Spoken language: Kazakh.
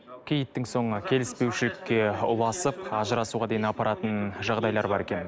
киіттің соңы келіспеушілікке ұласып ажырасуға дейін апаратын жағдайлар бар екен